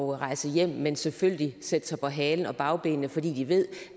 rejse hjem men selvfølgelig i sætte sig på halen og bagbenene fordi de ved